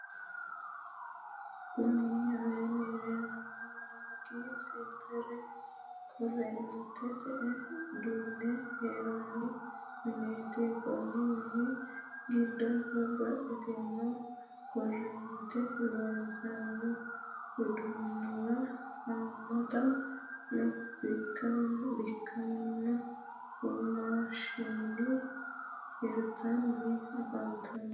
kuni aleenni leelanno dargi senpeer korreentete udiinne hirranni mineeti. konni mini giddo babbaxxitinno korrentete loossanno uduunuwa haammata no. bikkamino womashinni hirtanni afantanno.